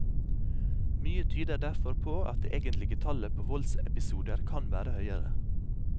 Mye tyder derfor på at det egentlige tallet på voldsepisoder kan være høyere.